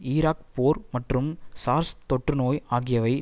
Iraq போர் மற்றும் SARS தொற்று நோய் ஆகியவை